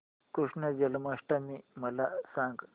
कृष्ण जन्माष्टमी मला सांग